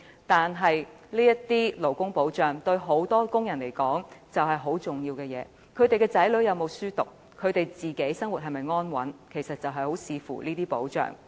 但是，這些勞工保障對許多僱員來說，卻很重要。他們的子女能否讀書、他們的生活是否安穩，其實很視乎這些保障。